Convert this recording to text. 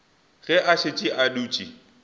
ge a šetše a dutše